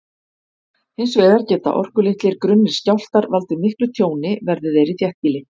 Hins vegar geta orkulitlir, grunnir skjálftar valdið miklu tjóni, verði þeir í þéttbýli.